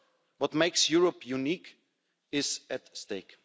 What makes Europe unique is at stake.